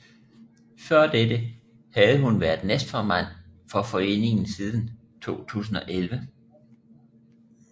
Før dette havde hun været næstformand for foreningen siden 2011